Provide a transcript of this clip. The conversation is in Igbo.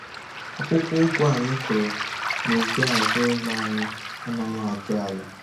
Akwụkwọ ụgụ anyị kụrụ nubi azụ ụlọ anyị anaghị ajụ nala